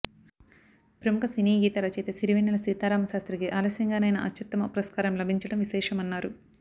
ప్రముఖ సినీ గీత రచయిత సిరివెన్నెల సీతారామశాస్త్రికి ఆలస్యంగానైనా అత్యు త్తమ పురస్కారం లభించడం విశేషమన్నారు